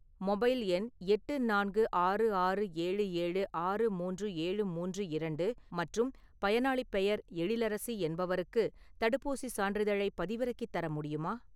Mobile எண் எட்டு நான்கு ஆறு ஆறு ஏழு ஏழு ஆறு மூன்று ஏழு மூன்று இரண்டு மற்றும் பயனாளிப் பெயர் எழிலரசி என்பவருக்கு தடுப்பூசிச் சான்றிதழைப் பதிவிறக்கித் தர முடியுமா?